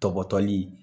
Tɔgɔtɔli